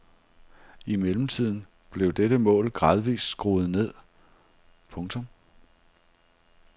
I mellemtiden blev dette mål gradvist skruet ned. punktum